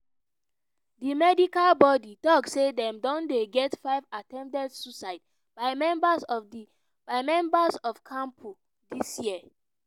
di medical bodi tok say dem don get five attempted suicides by members of kmpdu dis year. year.